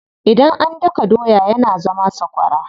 Idan an daka doya yana zama sakwara.